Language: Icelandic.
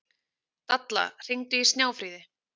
Dalla, hringdu í Snjáfríði.